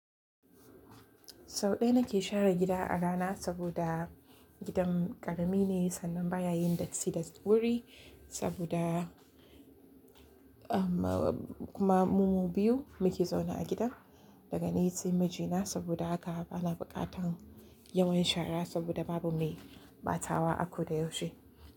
Sau ɗaya na ke share gida a rana saboda gidan ƙarami ne sannan baya yin datti da wuri saboda kuma mu biyu muke zaune a gidan daga ni sai mijina saboda haka bana buƙatar yawan shara saboda babu mai batawa akoda yaushe.